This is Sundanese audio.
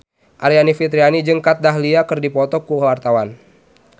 Aryani Fitriana jeung Kat Dahlia keur dipoto ku wartawan